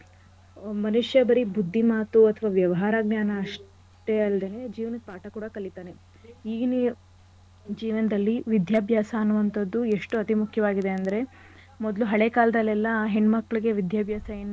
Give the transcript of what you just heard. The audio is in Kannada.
ಮನುಷ್ಯ ಬರೀ ಬುದ್ಧಿ ಮಾತು ಅಥವಾ ವ್ಯವಹಾರ ಜ್ಞಾನ ಅಷ್ಟೇ ಅಲ್ದೇನೆ ಜೀವನದ ಪಾಠ ಕೂಡ ಕಲಿತಾನೆ. ಈಗಿನ ಜೀವನದಲ್ಲಿ ವಿದ್ಯಾಭ್ಯಾಸ ಅನ್ನುವಂಥದ್ದು ಎಷ್ಟು ಅತಿ ಮುಖ್ಯವಾಗಿದೆ ಅಂದ್ರೆ ಮೊದ್ಲು ಹಳೆ ಕಾಲ್ದಲೆಲ್ಲಾ ಹೆಣ್ ಮಕ್ಳಿಗೆ ವಿದ್ಯಾಭ್ಯಾಸ ಏನ್.